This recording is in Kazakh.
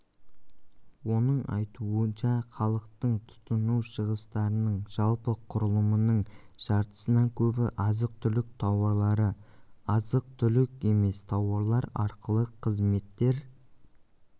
оның айтуынша халықтың тұтыну шығыстарының жалпы құрылымының жартысынан көбін азық-түлік тауарлары азық-түлік емес тауарлар ақылы қызметтер